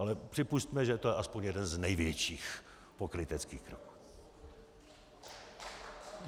Ale připusťme, že je to aspoň jeden z největších pokryteckých kroků.